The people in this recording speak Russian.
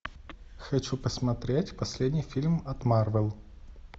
хочу посмотреть последний фильм от марвел